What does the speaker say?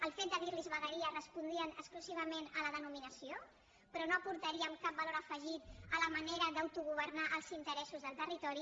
el fet de dir ne vegueries respondria exclusivament a la denominació però no aportaríem cap valor afegit a la manera d’autogovernar els interessos del territori